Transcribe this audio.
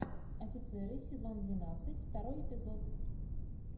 офицеры сезон двенадцать второй эпизод